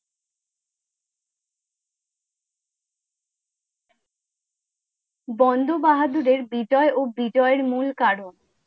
বন্ধ বাহাদুরের বিজয় ও বিজয়ের মূল কারণ?